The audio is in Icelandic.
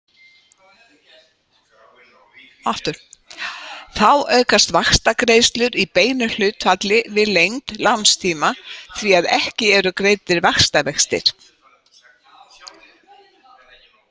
Þá aukast vaxtagreiðslur í beinu hlutfalli við lengd lánstíma því að ekki eru greiddir vaxtavextir.